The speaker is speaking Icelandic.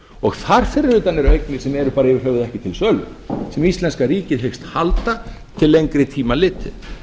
og þar fyrir utan eru eignir sem eru bara yfir höfuð ekki til sölu sem íslenska ríkið hyggst halda til lengri tíma litið